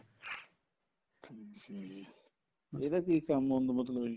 ਠੀਕ ਏ ਜੀ ਇਹਦਾ ਕੀ ਕੰਮ ਹੁੰਦਾ ਮਤਲਬ ਕੀ